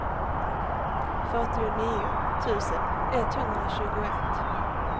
fyrtionio tusen etthundratjugoett